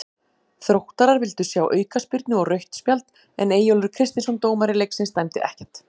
Þróttarar vildu sjá aukaspyrnu og rautt spjald en Eyjólfur Kristinsson dómari leiksins dæmdi ekkert.